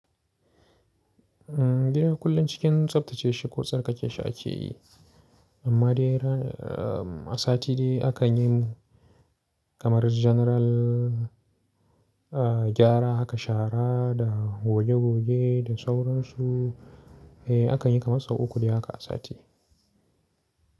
Gida kullum cikin tsaftace shi ko tsarkake shi ake yi, amma dai ran, ah, asati dai akan yi kamar janaral, ah, gyara haka shara da goge goge da sauransu. Eh, akan yi kamar sau uku dai haka a sati.